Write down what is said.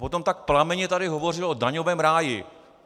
Potom tak plamenně tady hovořil o daňovém ráji.